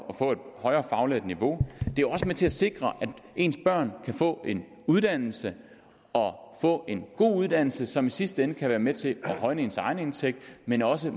få et højere fagligt niveau det er også med til at sikre at ens børn kan få en uddannelse og få en god uddannelse som i sidste ende kan være med til at højne ens egen indtægt men også